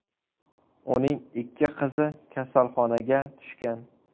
Uning ikki qizi kasalxonaga tushgan.